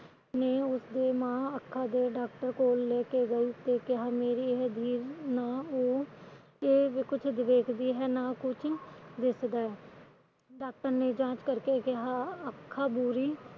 ਮਾ ਉਸ ਦੇ ਅੱਖਾ ਦੇ doctor ਕੋਲ ਲੈਕੇ ਗਈ ਤੇ ਕਿਹਾ ਮੈਰੀ ਇਹ ਕੁਝ ਵੇਖਦੀ ਹੈ ਤੇ ਨਾ ਕੁਝ ਵਿਖਦਾ ਹੈ doctor ਨੇ ਜਾਂਚ ਕਰਕੇ ਕਿਹਾ ਅੱਖਾ ਪੂਰੀ